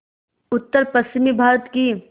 उत्तरपश्चिमी भारत की